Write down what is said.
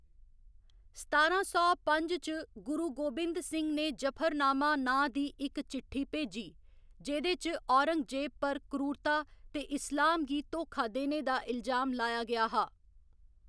सतारां सौ पंज च, गुरु गोबिंद सिंह ने जफरनामा नांऽ दी इक चिट्ठी भेजी, जेह्‌‌‌दे च औरंगजेब पर क्रूरता ते इस्लाम गी धोखा देने दा इलजाम लाया गेआ हा।